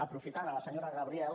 aprofitant la senyora gabriel